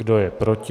Kdo je proti?